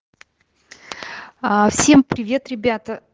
аа всем привет ребята